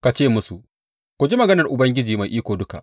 Ka ce musu, Ku ji maganar Ubangiji Mai Iko Duka.